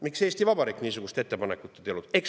Miks Eesti Vabariik niisugust ettepanekut ei teinud?